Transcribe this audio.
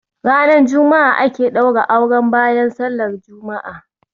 Ranar Juma'a aka ɗaura auren bayan sallar Juma'a